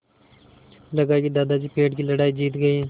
लगा कि दादाजी पेड़ की लड़ाई जीत गए